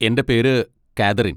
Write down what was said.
എൻ്റെ പേര് കാതറീൻ.